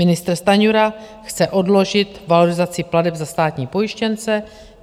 Ministr Stanjura chce odložit valorizaci plateb za státní pojištěnce.